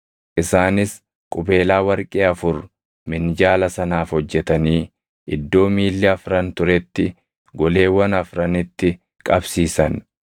Isaanis qubeelaa warqee afur minjaala sanaaf hojjetanii iddoo miilli afran turetti goleewwan afranitti qabsiisan.